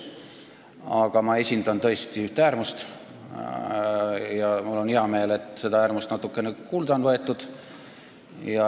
Aga ma esindan tõesti üht äärmust ja mul on hea meel, et seda äärmust on natukene kuulda võetud.